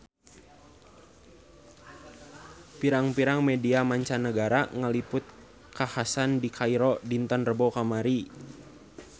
Pirang-pirang media mancanagara ngaliput kakhasan di Kairo dinten Rebo kamari